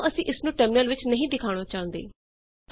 ਮਨ ਲੋ ਅਸੀਂ ਇਸਨੂੰ ਟਰਮਿਨਲ ਵਿੱਚ ਨਹੀ ਦਿਖਾਉਣਾ ਚਾਹੁੰਦੇ